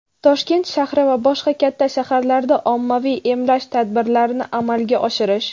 Toshkent shahri va boshqa katta shaharlarda ommaviy emlash tadbirlarini amalga oshirish;.